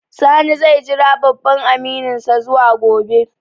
Sani zai jira babban amininsa zuwa gobe